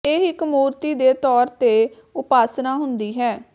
ਇਹ ਇੱਕ ਮੂਰਤੀ ਦੇ ਤੌਰ ਤੇ ਉਪਾਸਨਾ ਹੁੰਦੀ ਹੈ